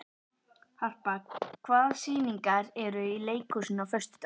Harpa, hvaða sýningar eru í leikhúsinu á föstudaginn?